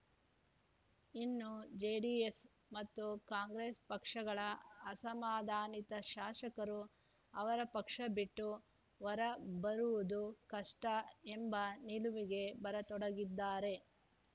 ಇನ್ನು ಜೆಡಿಎಸ್‌ ಮತ್ತು ಕಾಂಗ್ರೆಸ್‌ ಪಕ್ಷಗಳ ಅಸಮಾಧಾನಿತ ಶಾಸಕರು ಅವರ ಪಕ್ಷ ಬಿಟ್ಟು ಹೊರಬರುವುದು ಕಷ್ಟಎಂಬ ನಿಲವಿಗೆ ಬರತೊಡಗಿದ್ದಾರೆ